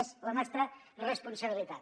és la nostra responsabilitat